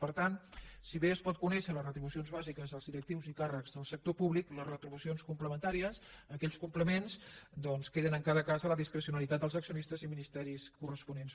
per tant si bé es podent conèixer les retribucions bàsiques dels directius i càrrecs del sector públic les retribucions complementàries aquells complements doncs queden en cada cas a la discrecionalitat dels accionistes i ministeris corresponents